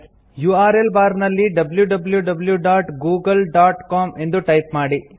URL bar ನಲ್ಲಿ wwwgooglecom ಎಂದು type ಮಾಡಿ